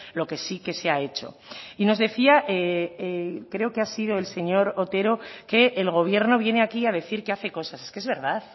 lo que sí que se ha hecho y nos decía creo que ha sido el señor otero que el gobierno viene aquí a decir que hace cosas es que es verdad